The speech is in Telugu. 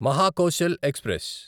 మహాకోశల్ ఎక్స్ప్రెస్